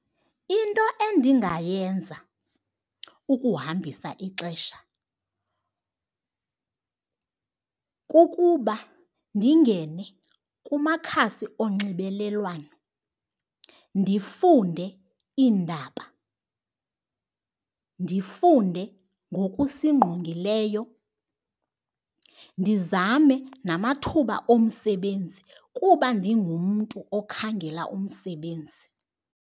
Into endingayenza ukuhambisa ixesha kukuba ndingene kumakhasi onxibelelwano ndifunde iindaba, ndifunde ngokusingqongileyo, ndizame namathuba omsebenzi kuba ndingumntu okhangela umsebenzi.